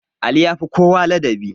Ali yafi kowa ladabi